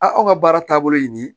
A aw ka baara taabolo ye nin ye